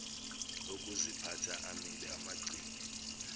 okuziphatha amile abagcini